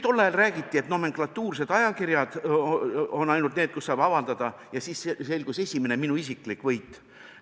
Tol ajal räägiti meile, et ainult nomenklatuursed ajakirjad on need, kus saab avaldada, ja siis saavutasin ma oma esimese isikliku võidu.